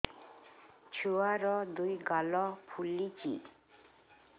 ଛୁଆର୍ ଦୁଇ ଗାଲ ଫୁଲିଚି